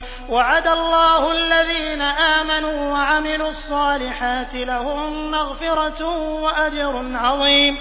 وَعَدَ اللَّهُ الَّذِينَ آمَنُوا وَعَمِلُوا الصَّالِحَاتِ ۙ لَهُم مَّغْفِرَةٌ وَأَجْرٌ عَظِيمٌ